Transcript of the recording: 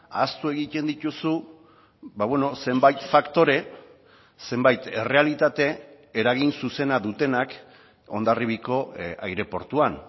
ahaztu egiten dituzu zenbait faktore zenbait errealitate eragin zuzena dutenak hondarribiako aireportuan